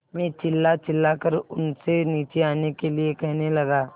मैं चिल्लाचिल्लाकर उनसे नीचे आने के लिए कहने लगा